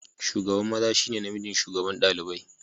Shugaban maza shi ne namijin shugaban ɗalibai.